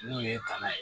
N'o ye tana ye